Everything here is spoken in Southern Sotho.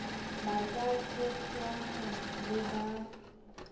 ba ka tshepjwang le ba